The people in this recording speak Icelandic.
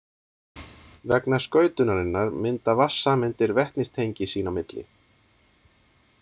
Vegna skautunarinnar mynda vatnssameindir vetnistengi sín á milli.